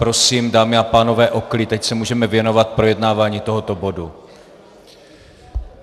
Prosím, dámy a pánové, o klid, ať se můžeme věnovat projednávání tohoto bodu!